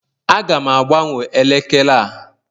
Aga m agbanwe elekere a